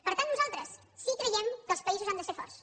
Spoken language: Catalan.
per tant nosaltres sí creiem que els països han de ser forts